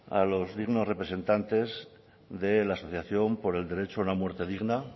a los dignos representantes de la asociación por el derecho a una muerte digna